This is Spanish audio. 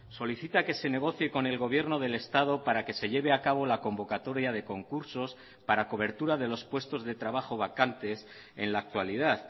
solicita que se negocie con el gobierno del estado para que se lleve a cabo la convocatoria de concursos para cobertura de los puestos de trabajo vacantes en la actualidad